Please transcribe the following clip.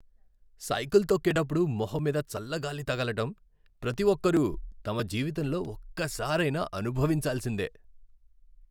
Cycle తొక్కేటప్పుడు మొహం మీద చల్ల గాలి తగలటం, ప్రతి ఒక్కరూ తమ జీవితంలో ఒక్కసారైనా అనుభవించాల్సిందే.